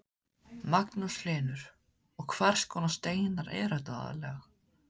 Magnús Hlynur: Og hvers konar steinar eru þetta aðallega?